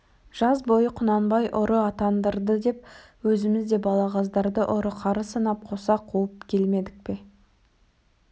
жаз бойы құнанбай ұры атандырды деп өзіміз де балағаздарды ұры қары санап қоса қуып келмедік пе